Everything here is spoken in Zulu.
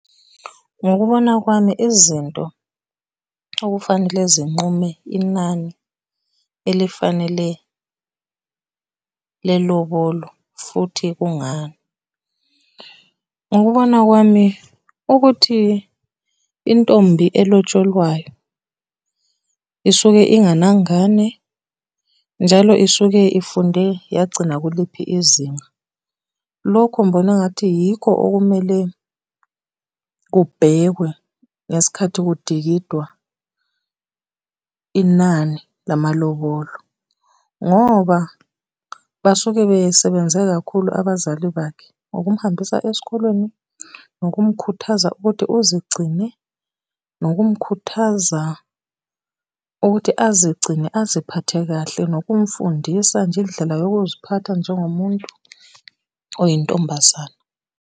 Ngokubona kwami izinto okufanele zinqume inani elifanele lelobolo, futhi kungani. Ngokubona kwami ukuthi intombi elotsholwayo isuke inganangane, njalo isuke ifunde yagcina kuliphi izinga. Lokhu ngibona engathi yikho okumele kubhekwe ngesikhathi kudingidwa inani lamalobolo, ngoba basuke besebenze kakhulu abazali bakhe ukumuhambisa esikolweni, nokumkhuthaza ukuthi uzigcine, nokumkhuthaza ukuthi azigcine aziphathe kahle, nokumfundisa nje indlela yokuziphatha njengomuntu oyintombazane.